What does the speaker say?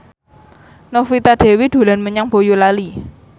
Novita Dewi dolan menyang Boyolali